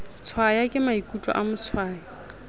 tshwaya ke maikutlo a motshwayi